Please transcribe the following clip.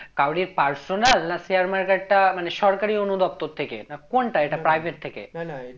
কারুরই personal না share market টা মানে সরকারি অনু দফতর থেকে না কোনটা এটা private থেকে?